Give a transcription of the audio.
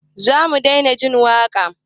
Zamu daina jin waka?